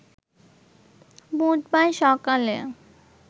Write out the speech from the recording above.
বুধবার সকালে